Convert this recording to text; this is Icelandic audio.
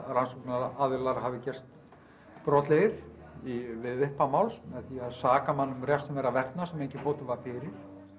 rannsóknaraðilar hafi gerst brotlegir við upphaf máls með því að saka mann um refsiverðan verknað sem enginn fótur var fyrir